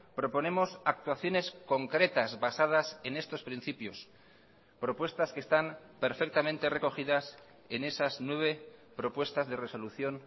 proponemos actuaciones concretas basadas en estos principios propuestas que están perfectamente recogidas en esas nueve propuestas de resolución